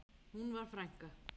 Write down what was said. Hún var frænka.